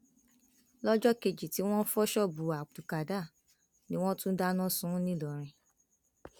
lọjọ kejì tí wọn fọ ṣọọbù abdulkádar ni wọn tún dáná sun ún ńìlọrin